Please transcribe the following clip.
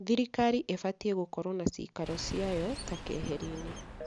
Thirikari ĩbatiĩ gũkorwo na ciikaro ciayo ta keeheri-inĩ